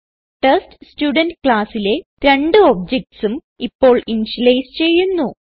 test student classലെ രണ്ട് objectsഉം ഇപ്പോൾ ഇനിഷ്യലൈസ് ചെയ്യുന്നു